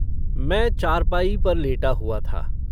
मैं चारपाई पर लेटा हुआ था।